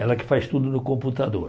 Ela que faz tudo no computador.